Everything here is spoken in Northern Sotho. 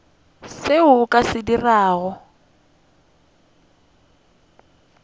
seo o ka se dirago